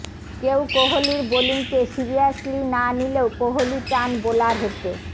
কেউ কোহলির বোলিংকে সিরিয়াসলি না নিলেও কোহলি চান বোলার হতে